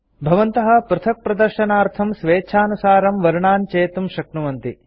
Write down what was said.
भवन्तः पृथक्प्रदर्शनार्थं स्वेच्छानुसारं वर्णान् चेतुं शक्नुवन्ति